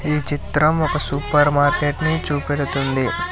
ఈ చిత్రం ఒక సూపర్ మార్కెట్ ని చూపెడుతుంది.